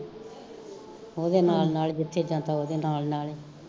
ਉਹਦੇ ਨਾਲ਼ ਨਾਲ਼ ਜਿੱਥੇ ਜਾਂਦਾ ਉਹਦੇ ਨਾਲ਼ ਨਾਲ਼ ਏ